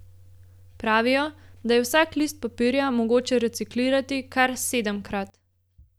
Pravijo, da je vsak list papirja mogoče reciklirati kar sedemkrat.